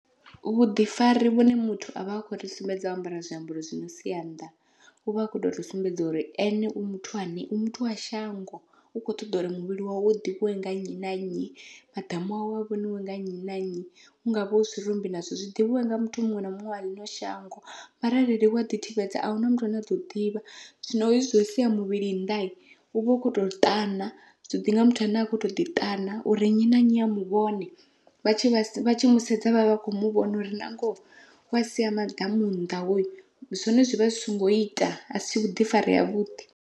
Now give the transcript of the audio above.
Vhuḓifari vhune muthu avha akho ri sumbedza o ambara zwiambaro zwi no sia nnḓa uvha a kho tori sumbedza uri ene u muthu ane u muthu wa shango u kho ṱoḓa uri muvhili wawe u ḓivhiwe nga nnyi na nnyi, maḓamu awe a vhoniwe nga nnyi na nnyi u hungavha hu zwirumbi nazwo zwi ḓivhiwe nga muthu muṅwe na muṅwe wa ḽino shango, mara arali wa ḓi thivhedza ahuna muthu ane a ḓo ḓivha. Zwino hezwi zwo sia muvhili nnḓa uvha u kho to ṱana zwi ḓinga muthu ane a khou ḓi ṱana uri nnyi na nnyi a muvhone, vha tshi musedza vhavha vha kho muvhona uri nangoho wa sia maḓamu nnḓa hoyu zwone zwivha zwi songo ita asi vhuḓifari ha vhuḓi.